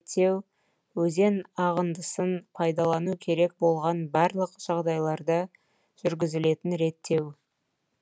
төмен ағындыны реттеу өзен ағындысын пайдалану керек болған барлық жағдайларда жүргізілетін реттеу